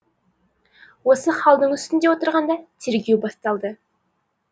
осы халдің үстінде отырғанда тергеу басталды